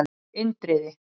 Indriði